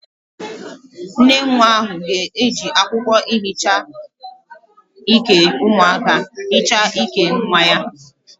Nnenwa ahu ga-eji akwokwo ihicha Ike umuaka hicha Ike nwa ya